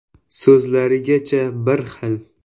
So‘zlarigacha bir xil.